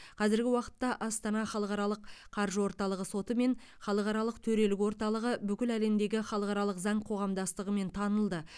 қазіргі уақытта астана халықаралық қаржы орталығы соты мен халықаралық төрелік орталығы бүкіл әлемдегі халықаралық заң қоғамдастығымен танылды